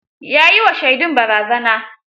Ya yi wa shaidun barazana.